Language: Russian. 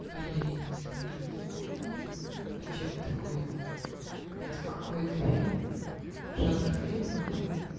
а я и не смотрю такую хуйню а что это такое это какой-то фильм жанр фильмов да